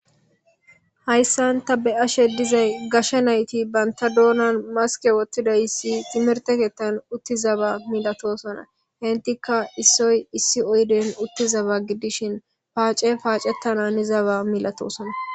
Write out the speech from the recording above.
Haysan ta beyashe gashe nayti banta dunan maske wothididaysati timirte keethani uttidaba missatosona , entika issoy issi oydene utiza gidishin paace paacetana hanizaba milatosona . na.